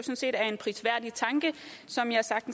så